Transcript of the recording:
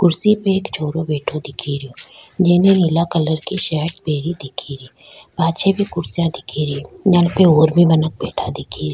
कुर्सी पे एक छोरो बैठो दिखे रियो जेने नीला कलर की शर्ट पहनी दिखे री पाछे भी कुर्सियां दिखे री जेन पे और भी मानक बैठा दिखे रिया।